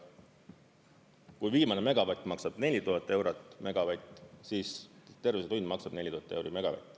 Kui viimane megavatt maksab 4000 eurot megavatt, siis terve see tund maksab 4000 euri megavatt.